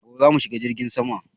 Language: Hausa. Gobe za mu shiga jirgin sama